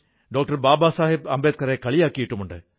ബാബാ സാഹബ് അംബേദ്കറെ കളിയാക്കിയിട്ടുമുണ്ട്